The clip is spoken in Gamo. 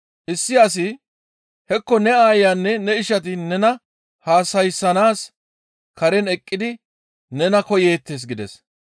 Issi asi, «Hekko ne aayanne ne ishati nena haasayssanaas karen eqqidi nena koyeettes» gides.